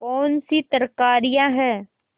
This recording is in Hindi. कौनसी तरकारियॉँ हैं